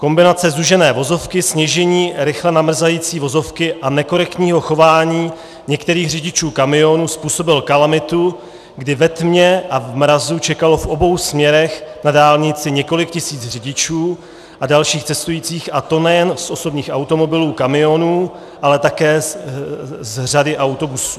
Kombinace zúžené vozovky, sněžení, rychle namrzající vozovky a nekorektního chování některých řidičů kamionů způsobila kalamitu, kdy ve tmě a v mrazu čekalo v obou směrech na dálnici několik tisíc řidičů a dalších cestujících, a to nejen z osobních automobilů, kamionů, ale také z řady autobusů.